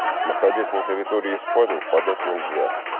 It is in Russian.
находясь на территории испании подать нельзя